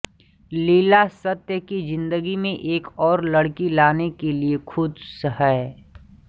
लीला सत्य की जिंदगी में एक और लड़की लाने के लिए खुश हैं